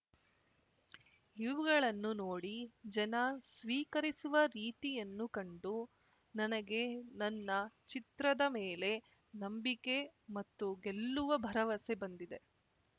ಇವುಗಳನ್ನು ನೋಡಿ ಜನ ಸ್ವೀಕರಿಸಿರುವ ರೀತಿಯನ್ನು ಕಂಡು ನನಗೆ ನನ್ನ ಚಿತ್ರದ ಮೇಲೆ ನಂಬಿಕೆ ಮತ್ತು ಗೆಲ್ಲುವ ಭರವಸೆ ಬಂದಿದೆ